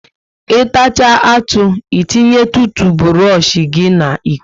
I tachaa atụ, e tinye tuutuburosh gị n'iko ya